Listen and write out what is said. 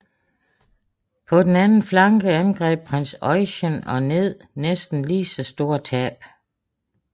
På den anden flanke angreb prins Eugen og ned næsten lige så store tab